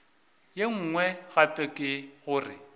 ye nngwe gape ke gore